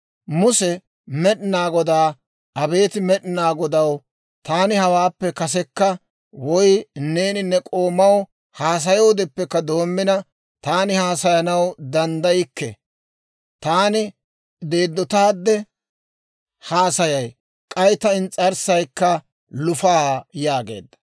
Muse Med'inaa Godaa, «Abeet Med'inaa Godaw, taani hawaappe kasekka, woy neeni ne k'oomaw haasayoodeppe doomina taani haasayanaw danddaykke; taani deeddotaadde haasayay; k'ay ta ins's'arssaykka lufaa» yaageedda.